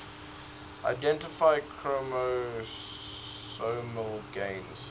identify chromosomal gains